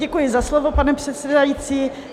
Děkuji za slovo, pane předsedající.